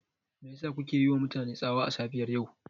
Me yasa kuke yiwa mutane tsawa a safiyar yau?